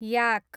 याक